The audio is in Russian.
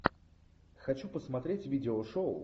хочу посмотреть видео шоу